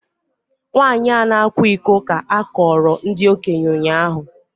Nwanyị a na-akwa iko ka a kọọrọ ndị okenye ụnyahụ